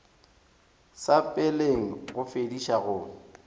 sa peleng go fediša go